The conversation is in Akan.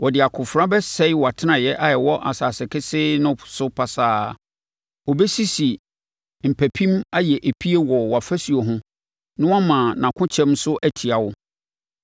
Ɔde akofena bɛsɛe wʼatenaeɛ a ɛwɔ asase kesee no so pasaa; ɔbɛsisi mpampim ayɛ epie wɔ wʼafasuo ho na wama nʼakokyɛm so atia wo.